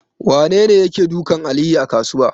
Wanene yake dukan Aliyu a kasuwa?